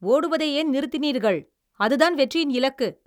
ஓடுவதை ஏன் நிறுத்தினீர்கள்? அதுதான் வெற்றியின் இலக்கு.